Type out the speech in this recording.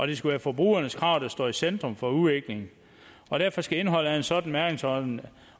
det skal være forbrugernes krav der står i centrum for udviklingen og derfor skal indholdet af en sådan mærkningsordning